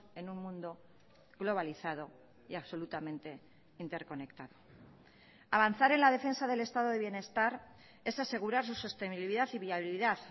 en un mundo globalizado y absolutamente interconectado avanzar en la defensa del estado de bienestar es asegurar su sostenibilidad y viabilidad